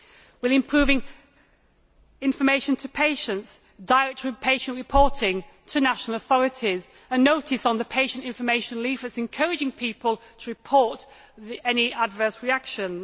We are improving information to patients, direct patient reporting to national authorities, and a notice on patient information leaflets encouraging people to report any adverse reactions.